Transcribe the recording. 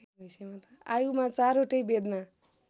आयुमा चारवटै वेदमा